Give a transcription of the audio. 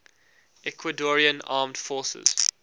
ecuadorian armed forces